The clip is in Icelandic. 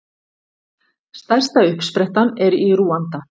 Stærsta uppsprettan er í Rúanda.